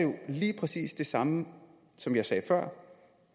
jo lige præcis det samme som jeg sagde før